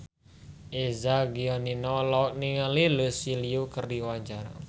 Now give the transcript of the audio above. Eza Gionino olohok ningali Lucy Liu keur diwawancara